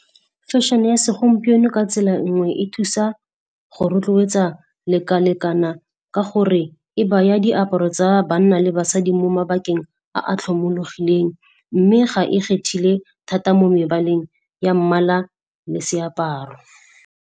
Fashion-e ya segompieno ka tsela nngwe e thusa go rotloetsa leka-lekana ka gore e baya diaparo tsa banna le basadi mo mabakeng a a tlhomologileng mme ga e kgethile thata mo mebaleng ya mmala le seaparo.